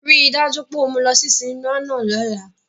Rii daju pe o mu u lọ si sinima náa lọla!